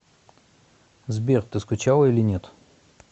сбер ты скучала или нет